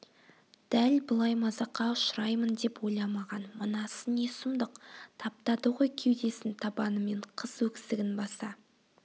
дәл былай мазаққа ұшыраймын деп ойламаған мынасы не сұмдық таптады ғой кеудесін табанымен қыз өксігін баса